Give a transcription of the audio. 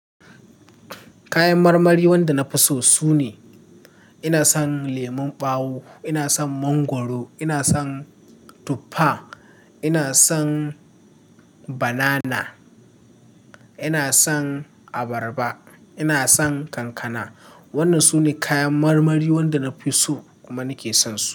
Kayan marmari wanda na fi so sune, ina son lemon ɓawo, ina son mangwaro, ina son tuffa, ina son banana, ina son abarba, ina son kankana. Wannan sune kayan marmari wanda na fi so kuma na ke son su.